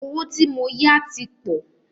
Owó tí mó yá tí pọ̀.